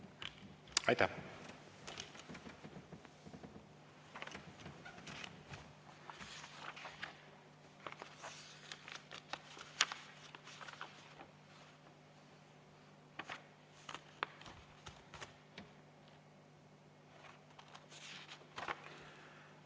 Aitäh!